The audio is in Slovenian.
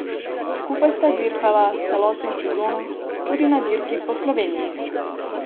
Skupaj sta dirkala celotno sezono, tudi na Dirki Po Sloveniji.